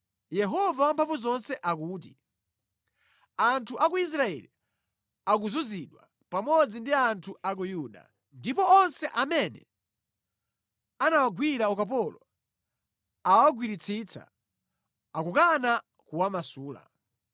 Yehova Wamphamvuzonse akuti, “Anthu a ku Israeli akuzunzidwa, pamodzi ndi anthu a ku Yuda, ndipo onse amene anawagwira ukapolo awagwiritsitsa, akukana kuwamasula.